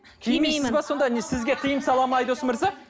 кимеймін сонда не сізге тыйым сала ма айдос мырза